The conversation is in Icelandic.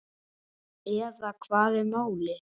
Eða hvað er málið?